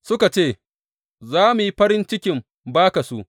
Suka ce, Za mu yi farin cikin ba ka su.